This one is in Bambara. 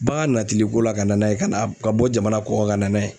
Bagan natili ko la ka na n'a ye ka na ka bɔ jamana kɔkan ka na n'a ye